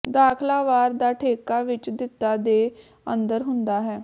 ਦਾਖਲਾ ਵਾਰ ਦਾ ਠੇਕਾ ਵਿੱਚ ਦਿੱਤਾ ਦੇ ਅੰਦਰ ਹੁੰਦਾ ਹੈ